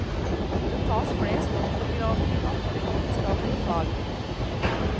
Det tas flest doktorgrader i naturvitenskapelige fag.